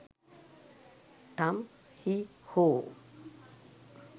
tum hi ho